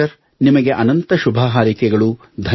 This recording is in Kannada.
ಡಾಕ್ಟರ್ ನಿಮಗೆ ಅನಂತ ಶುಭಹಾರೈಕೆಗಳು